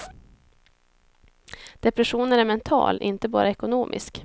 Depressionen är mental, inte bara ekonomisk.